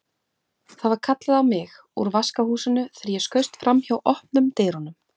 Það var kallað á mig úr vaskahúsinu þegar ég skaust framhjá opnum dyrunum.